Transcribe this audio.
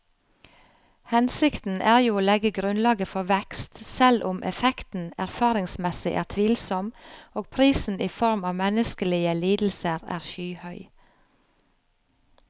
Hensikten er jo å legge grunnlaget for vekst, selv om effekten erfaringsmessig er tvilsom og prisen i form av menneskelige lidelser er skyhøy.